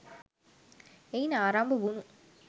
එයින් ආරම්භ වුණු